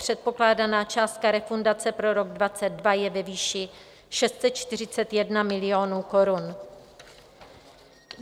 Předpokládaná částka refundace pro rok 2022 je ve výši 641 milionů korun.